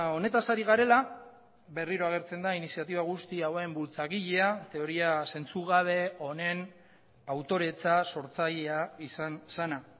honetaz ari garela berriro agertzen da iniziatiba guzti hauen bultzagilea teoria zentzugabe honen autoretza sortzailea izan zena